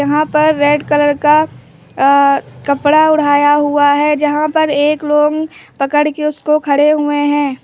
यहां पर red colour का अह कपड़ा ओढ़ाया हुआ है यहां पर एक लोग पकड़ के उसको खड़े हुए हैं।